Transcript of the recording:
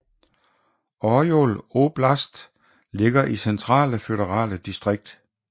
Orjol oblast ligger i Centrale føderale distrikt